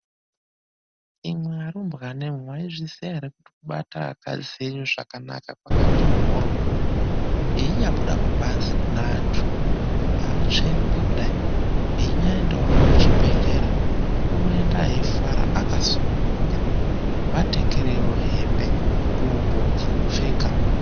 Imwi arumbwanemwe mwaizviziya ere kuti kubata akadzi enyu zvakanaka kwakati mhorwo einyabudawo kubanze kune andu aatsveruki kudai einyaendawo kuchibhedlera unoenda eifara akasununguka vatengerei hembe ngubo dzekupfeka